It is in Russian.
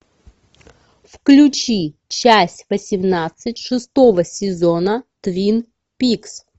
включи часть восемнадцать шестого сезона твин пикс